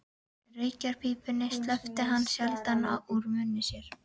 Reykjarpípunni sleppti hann sjaldan úr munni sér.